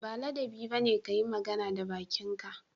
Ba ladabi ba ne ka yi magana da bakinka